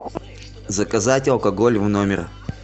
заказать алкоголь в номер